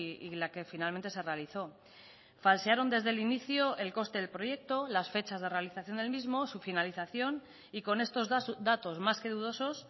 y la que finalmente se realizó falsearon desde el inicio el coste del proyecto las fechas de realización del mismo su finalización y con estos datos más que dudosos